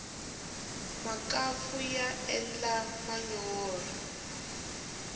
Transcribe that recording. makampfu ya endla manyorha